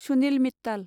Sunil Mittal